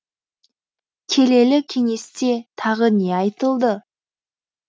келелі кеңесте тағы не айтылды